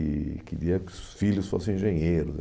E queria que os filhos fossem engenheiros.